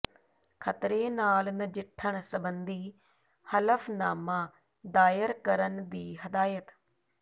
ਖ਼ਤਰੇ ਨਾਲ ਨਜਿੱਠਣ ਸਬੰਧੀ ਹਲਫ਼ਨਾਮਾ ਦਾਇਰ ਕਰਨ ਦੀ ਹਦਾਇਤ